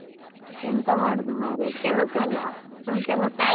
ಎಂತ ಮಾಡುದು ಮಾರ್ರೆ, ಕೆಲಸ ಅಲ್ಲಾ ಹ್ಮ್ ಕೆಲಸ.